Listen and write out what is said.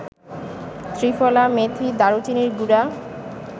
ত্রিফলা, মেথী, দারুচিনির গুড়া